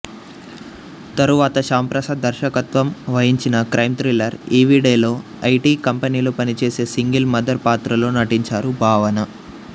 తరువాత శ్యాంప్రసాద్ దర్శకత్వం వహించిన క్రైమ్ థ్రిల్లర్ ఇవిడేలో ఐటీ కంపెనీలో పనిచేసే సింగిల్ మదర్ పాత్రలో నటించారు భావన